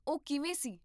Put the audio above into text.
ਉਹ ਕਿਵੇਂ ਸੀ?